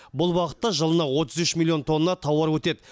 бұл бағытта жылына отыз үш миллион тонна тауар өтеді